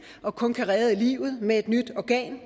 og kun kan redde livet med et nyt organ